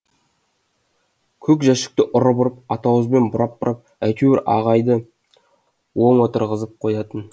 көк жәшікті ұрып ұрып атауызбен бұрап бұрап әйтеуір ағайды оң отырғызып қоятын